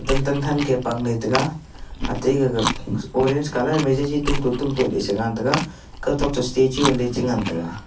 tan tan thang ke pangle taga ate gaga orange colour ma ji tom te tomte sengan tega kaw toh statue le chi ngan tega.